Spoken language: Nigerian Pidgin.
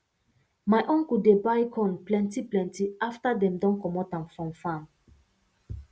my uncle dey buy corn plentyplenty after dem don comot am from farm